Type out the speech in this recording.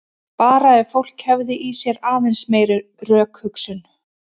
Bara ef fólk hefði í sér aðeins meiri rökhugsun.